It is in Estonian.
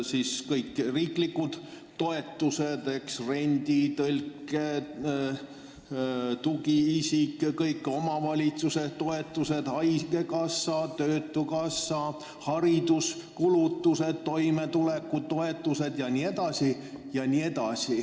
On ju igasugused toetused: üüri, tõlkimise ja tugiisiku tasu, kõik omavalitsuse toetused, haigekassa ja töötukassa, samuti hariduskulutused, toimetulekutoetused jne.